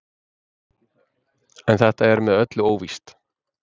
En þetta er með öllu óvíst.